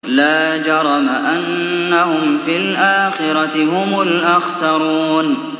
لَا جَرَمَ أَنَّهُمْ فِي الْآخِرَةِ هُمُ الْأَخْسَرُونَ